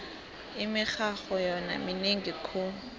imirharho yona minengi khulu